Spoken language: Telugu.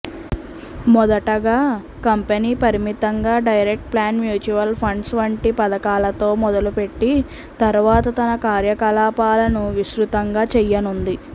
మొదటగా కంపెనీ పరిమితంగా డైరెక్ట్ ప్లాన్ మ్యూచువల్ ఫండ్స్ వంటి పథకాలతో మొదలుపెట్టి తర్వాత తన కార్యకలాపాలను విస్తృతం చేయనుంది